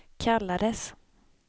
kallades